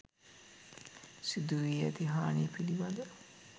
සිදු වී ඇති හානිය පිළිබඳව